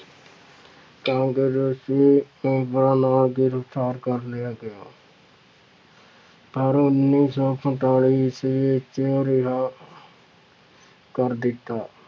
ਕਾਂਗਰਸ਼ ਗ੍ਰਿਫ਼ਤਾਰ ਕਰ ਲਿਆ ਗਿਆ ਪਰ ਉੱਨੀ ਸੌ ਸੰਤਾਲੀ ਈਸਵੀ ਵਿੱਚ ਰਿਹਾ ਕਰ ਦਿੱਤਾ।